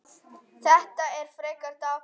Þetta er frekar dapurt.